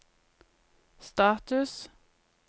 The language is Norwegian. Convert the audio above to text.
status